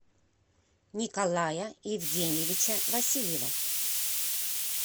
николая евгеньевича васильева